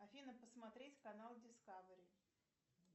афина посмотреть канал дискавери